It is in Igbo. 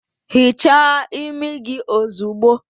Hichaa imi gị ozugbo!